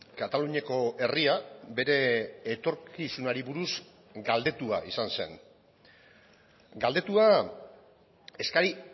kataluniako herria bere etorkizunari buruz galdetua izan zen galdetua eskari